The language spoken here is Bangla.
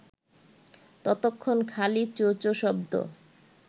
ততক্ষণ খালি চোঁ-চোঁ শব্দ